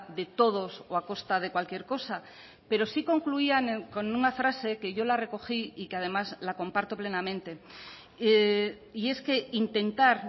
de todos o a costa de cualquier cosa pero sí concluían con una frase que yo la recogí y que además la comparto plenamente y es que intentar